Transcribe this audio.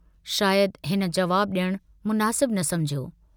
शायद हिन जवाबु डियणु मुनासिब न समुझियो।